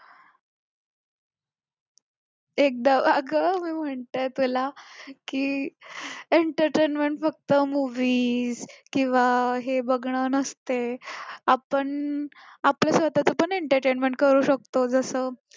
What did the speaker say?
एकदा अगं मी म्हटलं तुला entertainment फक्त movies किंवा हे बघणं नसते आपण आपल्या स्वताच पण entertainment करू शकतो